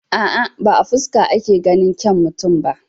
A'a, ba a fuska ake ganin kyau mutum ba.